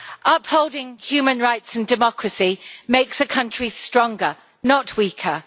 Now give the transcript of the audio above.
Upholding human rights and democracy makes a country stronger, not weaker.